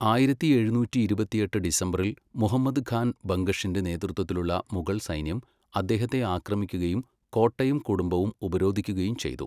ആയിരത്തി എഴുന്നൂറ്റി ഇരുപത്തിയെട്ട് ഡിസംബറിൽ മുഹമ്മദ് ഖാൻ ബംഗഷിന്റെ നേതൃത്വത്തിലുള്ള മുഗൾ സൈന്യം അദ്ദേഹത്തെ ആക്രമിക്കുകയും കോട്ടയും കുടുംബവും ഉപരോധിക്കുകയും ചെയ്തു.